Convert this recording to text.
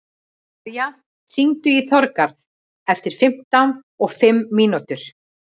Arja, hringdu í Þorgarð eftir fimmtíu og fimm mínútur.